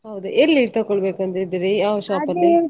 ಹೌದಾ! ಎಲ್ಲಿ ತಕೊಳ್ಬೇಕು ಅಂತ ಇದ್ದೀರಿ, ಯಾವ shop ಅಲ್ಲಿ?